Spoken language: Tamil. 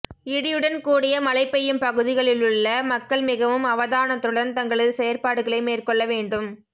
இடியுடன் கூடிய மழை பெய்யும் பகுதிகளிலுள்ள மக்கள் மிகவும் அவதானத்துடன் தங்களது செயற்பாடுகளை மேற்கொள்ள வேண்டும்